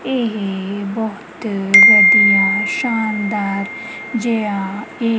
ਇਹ ਬਹੁਤ ਵਦੀਆਂ ਸ਼ਾਨਦਾਰ ਜੇਆ ਹੈ।